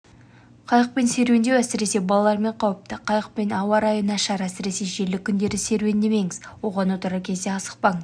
қайықпен серуендеу әсіресе балалармен қауіпті қайықпен ауа-райы нашар әсіресе желді күндерде серуендемеңіз оған отырар кезде асықпаңыз